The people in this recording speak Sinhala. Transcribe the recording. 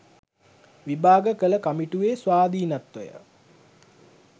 විභාග කළ කමිටුවේ ස්වාධීනත්වය